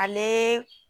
Ale